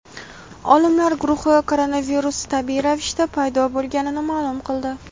Olimlar guruhi koronavirus tabiiy ravishda paydo bo‘lganini ma’lum qildi.